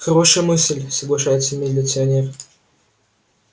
хорошая мысль соглашается милиционер